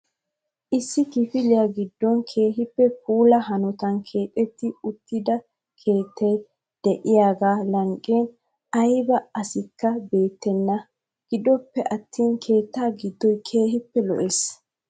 issi kifile giddon keehippe puula hanotan keexetti uttida keettay6 de'iyaa lanqqiyaa aybba asikka beettenba. gidoppe atin keetta giddoy keehippe lo''ees.